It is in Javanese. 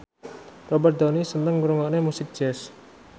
Robert Downey seneng ngrungokne musik jazz